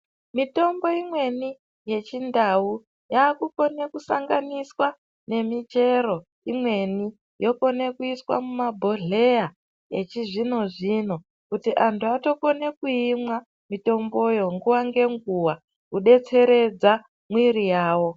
Mitombo imweni yechindau yaakukone kusanganiswa nemichero imweni yokone kuiswa mumabhodhleya echizvino-zvino, kuti antu atokone kuimwa mitomboyo nguwa ngenguwa kudetseredza mwiri yawo.